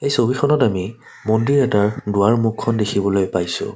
ছবিখনত আমি মন্দিৰ এটাৰ দুৱাৰমুখ খন দেখিবলৈ পাইছোঁ।